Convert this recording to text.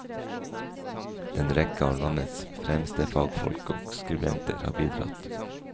En rekke av landets fremste fagfolk og skribenter har bidratt.